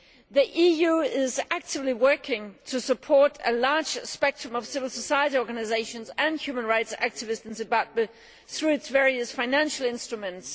The EU is actively working to support a large spectrum of civil society organisations and human rights activists in Zimbabwe through its various financial instruments.